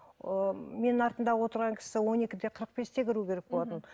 ыыы менің артымда отырған кісі он екі де қырық бесте кіруі керек болатын мхм